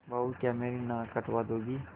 बहू क्या मेरी नाक कटवा दोगी